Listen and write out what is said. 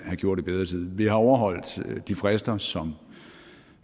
gjort i bedre tid vi har overholdt de frister som